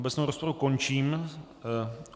Obecnou rozpravu končím.